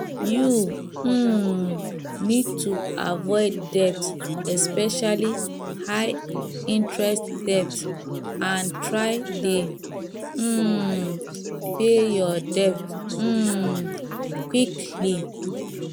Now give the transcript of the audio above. you um need to avoid debt especially highinterest debt and try dey um pay your debt um quickly